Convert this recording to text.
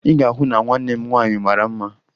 Ị ga-ahụ na nwanne m nwaanyị mara mma